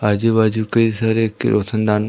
आजु बाजु कई सारे कि रोशन दान--